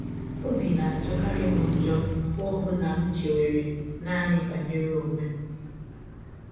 “ Ọbi na - ajọkarị m njọ mgbe ọ bụla m chewere naanị banyere ọnwe m.